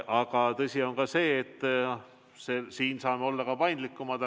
Aga tõsi on ka see, et me saame olla paindlikumad.